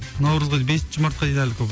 наурызға дейін бесінші мартқа дейін әлі көп